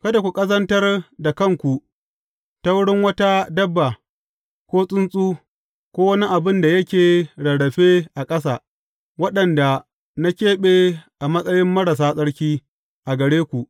Kada ku ƙazantar da kanku ta wurin wata dabba, ko tsuntsu, ko wani abin da yake rarrafe a ƙasa, waɗanda na keɓe a matsayi marasa tsarki a gare ku.